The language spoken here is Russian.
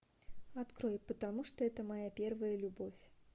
открой потому что это моя первая любовь